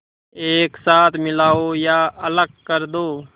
एक साथ मिलाओ या अलग कर दो